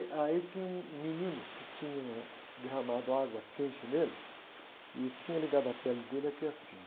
Aí tinha um menino que tinha derramado água quente nele e tinha ligado a pele dele aqui assim.